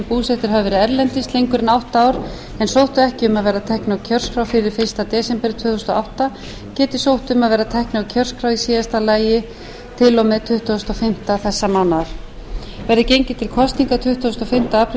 hafa verið erlendis lengur en átta ár en sóttu ekki um að verða teknir á kjörskrá fyrir fyrsta desember tvö þúsund og átta geti sótt um að verða teknir á kjörskrá í síðasta lagi til og með tuttugasta og fimmta mars þingmenn verði gengið til kosninga tuttugasta og fimmta apríl